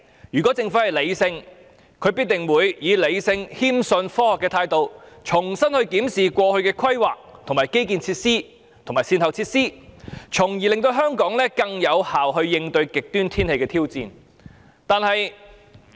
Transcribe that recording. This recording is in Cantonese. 如果政府是理性的，則必定會以理性、謙遜、科學的態度，重新檢視過去的規劃、基建設施及善後措施，從而令香港更有效應對極端天氣的挑戰。